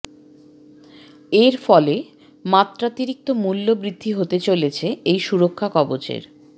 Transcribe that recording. এর ফলে মাত্রাতিরিক্ত মূল্য বৃদ্ধি হতে চলেছে এই সুরক্ষা কবচের